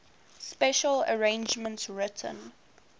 special arrangements written